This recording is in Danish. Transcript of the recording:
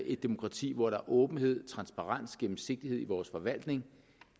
et demokrati hvor der er åbenhed transparens gennemsigtighed i vores forvaltning